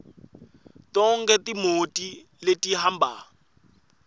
tonkhe timoti letihamba